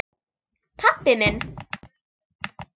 Pabbi minn?